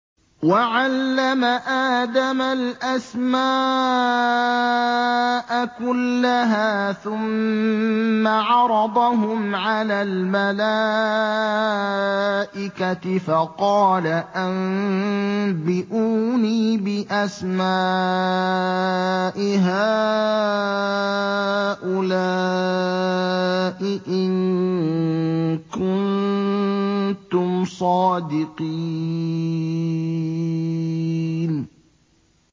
وَعَلَّمَ آدَمَ الْأَسْمَاءَ كُلَّهَا ثُمَّ عَرَضَهُمْ عَلَى الْمَلَائِكَةِ فَقَالَ أَنبِئُونِي بِأَسْمَاءِ هَٰؤُلَاءِ إِن كُنتُمْ صَادِقِينَ